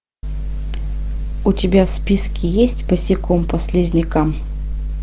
у тебя в списке есть босиком по слизнякам